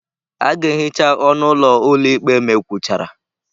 A ga-ehicha ọnụ ụlọ ụlọ ikpe ma e kwuchara.